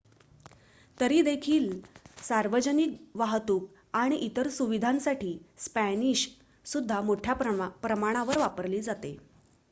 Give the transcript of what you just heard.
तरी देखील सार्वजनिक वाहतूक आणि इतर सुविधांसाठी स्पॅनिश सुद्धा मोठ्या प्रमाणावर वापरली जाते